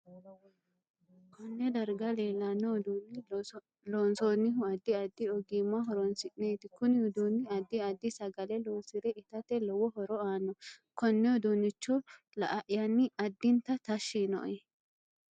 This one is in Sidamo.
Konne darga leelanno uduune loonsoonihu addi addi ogimma horoonisineeti kuni uduuni addi addi sagale loosire itate lowo horo aanno konne uduunicho la'ayani addinta tashi yiinoe